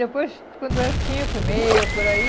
Depois, quando é cinco e meia, por aí,